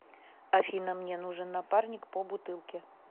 афина мне нужен напарник по бутылке